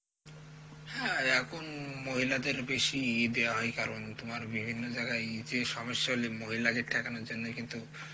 হ্যাঁ এখন মহিলাদের বেশি দেয়া হয় কারণ তোমার বিভিন্ন জায়গায় যে মহিলাদের জন্যই কিন্তু